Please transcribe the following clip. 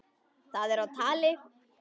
Það er á tali.